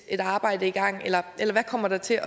et arbejde i gang eller hvad kommer der til